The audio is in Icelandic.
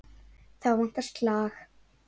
Þá vantar slag.